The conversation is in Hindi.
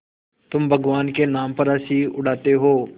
तुम भगवान के नाम पर हँसी उड़ाते हो